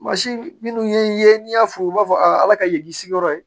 Mansin minnu ye n'i y'a fɔ u b'a fɔ a ala ka ye k'i sigiyɔrɔ ye